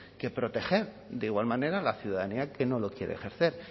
que proteger de igual manera a la ciudadanía que no lo quiere ejercer